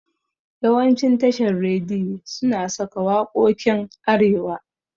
Yawancin tashan rediyi suna saka waƙokin arewa